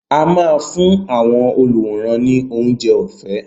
A máa fún àwọn olùwòran ni oúnjẹ ọ̀fẹ́.